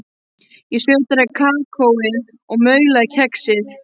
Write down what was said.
Ég sötraði kakóið og maulaði kexið.